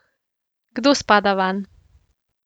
Kdo spada vanj?